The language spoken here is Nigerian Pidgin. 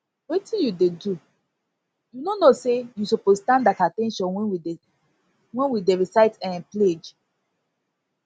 wetin you dey do you no know say you suppose stand at at ten tion wen we dey wen we dey recite um pledge